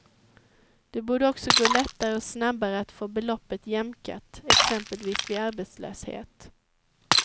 Det borde också gå lättare och snabbare att få beloppet jämkat, exempelvis vid arbetslöshet.